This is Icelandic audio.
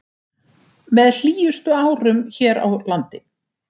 Með hlýjustu árum hér á landi